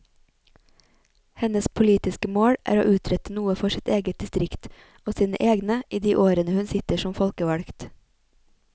Hennes politiske mål er å utrette noe for sitt eget distrikt og sine egne i de årene hun sitter som folkevalgt.